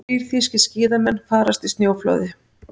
Þrír þýskir skíðamenn farast í snjóflóði